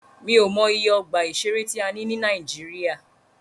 Mí ò mọ iye ọgbà ìṣẹ̀rẹ́ tí a ní ní Nàíjíríà.